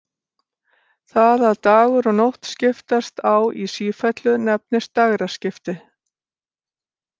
Það að dagur og nótt skiptast á í sífellu nefnist dægraskipti.